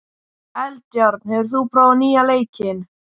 Eldjárn, hefur þú prófað nýja leikinn?